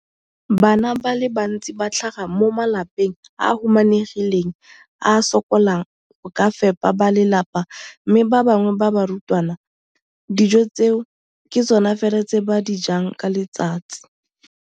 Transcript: Bana ba le bantsi ba tlhaga mo malapeng a a humanegileng a a sokolang go ka fepa ba lelapa mme ba bangwe ba barutwana, dijo tseo ke tsona fela tse ba di jang ka letsatsi.